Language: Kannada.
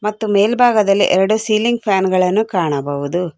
ಮತ್ತು ಮೆಲ್ಬಾಗದಲ್ಲಿ ಎರಡು ಸೀಲಿಂಗ್ ಫ್ಯಾನ್ ಗಳನ್ನು ಕಾಣಬಹುದು.